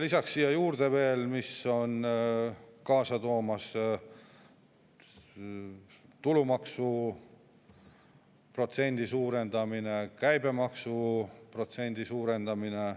Lisaks siia juurde veel, mis on kaasa toomas: tulumaksuprotsendi suurendamine, käibemaksuprotsendi suurendamine.